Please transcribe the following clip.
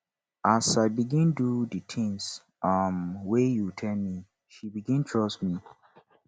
as i begin dey do di tins um wey you tell me she begin trust me